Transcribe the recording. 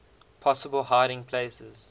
possible hiding places